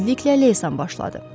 Tezliklə leysan başladı.